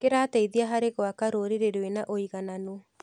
Kĩrateithia harĩ gwaka rũrĩrĩ rwĩna ũigananu.